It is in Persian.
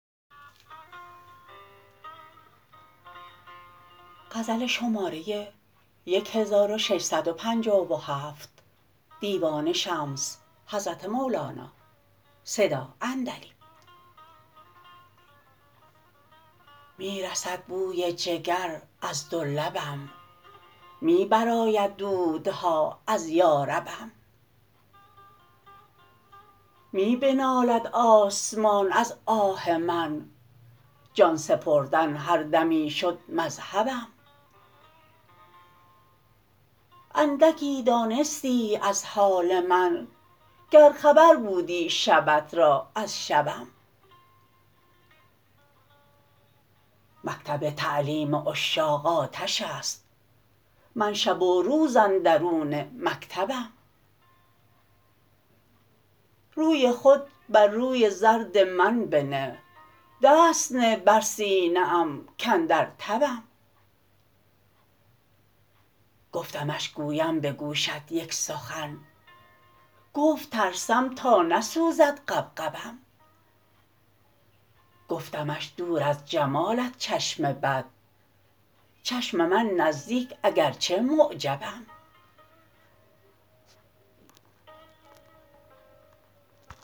می رسد بوی جگر از دو لبم می برآید دودها از یاربم می بنالد آسمان از آه من جان سپردن هر دمی شد مذهبم اندکی دانستیی از حال من گر خبر بودی شبت را از شبم مکتب تعلیم عشاق آتش است من شب و روز اندرون مکتبم روی خود بر روی زرد من بنه دست نه بر سینه ام کاندر تبم گفتمش گویم به گوشت یک سخن گفت ترسم تا نسوزد غبغبم گفتمش دور از جمالت چشم بد چشم من نزدیک اگر چه معجبم